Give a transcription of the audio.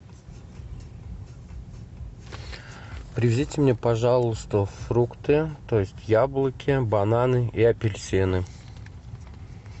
привезите мне пожалуйста фрукты то есть яблоки бананы и апельсины